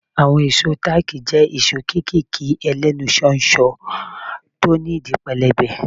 Àwọn ìṣó táàkì jẹ́ ìṣó kéékèèké ẹlẹ́nu ṣóńṣó tí ó ní ìdí pẹlẹbẹ.